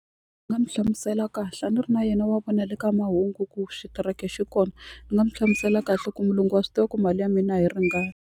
Ndzi nga n'wi hlamusela kahle a ni ri na yena wa vona le ka mahungu ku xitereke xi kona ni nga mu hlamusela kahle ku mulungu wa swi tiva ku mali ya mina a yi ringani.